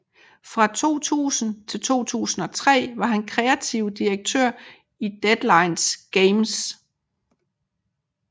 Fra 2000 til 2003 var han kreativ direktør i Deadline Games